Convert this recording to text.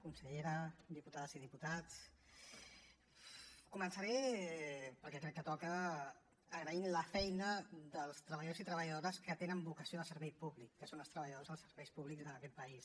consellera diputades i diputats començaré perquè crec que toca agraint la feina dels treballadors i treballadores que tenen vocació de servei públic que són els treballadors dels serveis públics d’aquest país